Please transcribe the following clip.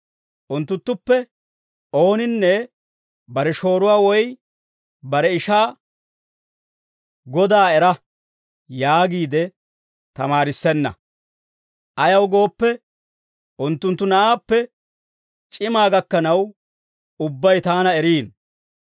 Unttunttuppe ooninne bare shooruwaa, woy bare ishaa, ‹Godaa era› yaagiide tamaarissenna. Ayaw gooppe, unttunttu na'aappe c'imaa gakkanaw ubbay taana eriino.